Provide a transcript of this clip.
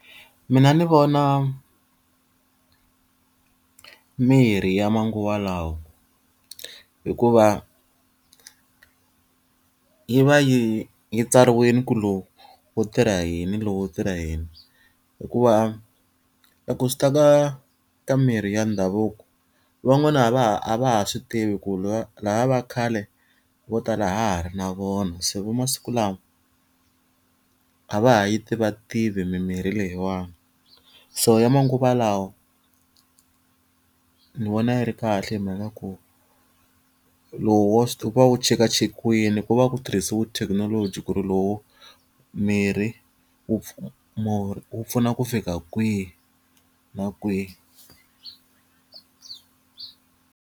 Mina ndzi vona mirhi ya manguva lawa. Hikuva yi va yi yi tsariwile ku lowu wu tirha yini lowu wu tirha yini. Hikuva loko swi ta ka ka mirhi ya ndhavuko, van'wana a va ha a va ha swi tivi ku lava va khale vo tala a ha ha ri na vona, se va masiku lawa a va ha yi tivativi mimirhi leyiwani. So ya manguva lawa, ni vona yi ri kahle hi mhaka ku lowu wa wu va wu chekachekiwile, ku va ku tirhisiwe thekinoloji ku ri lowu miri wu murhi wu pfuna ku fika kwihi na kwihi.